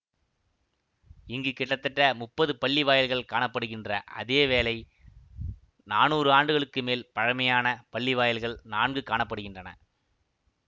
இங்கு கிட்டத்தட்ட முப்பது பள்ளிவாயல்கள் காண படுகின்ற அதே வேளை நானூறு ஆண்டுகளுக்கு மேல் பழைமையான பள்ளிவாயல்கள் நான்கு காண படுகின்றன